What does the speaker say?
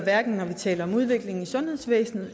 når vi taler om udvikling i sundhedsvæsenet